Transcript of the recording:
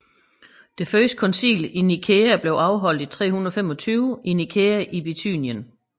Det første koncil i Nikæa blev afholdt i 325 i Nikæa i Bithynien